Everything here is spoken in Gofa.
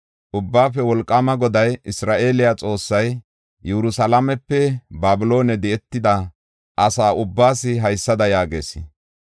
“Ubbaafe Wolqaama Goday, Isra7eele Xoossay, Yerusalaamepe Babiloone di7etida asa ubbaas haysada yaagees: